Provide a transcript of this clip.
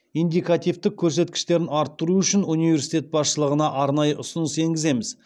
индикативтік көрсеткіштерін арттыру үшін университет басшылығына арнайы ұсыныс енгіземіз